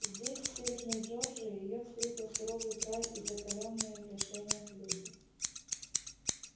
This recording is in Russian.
здесь в северной джорджии её встретил суровый край и закалённые в лишениях люди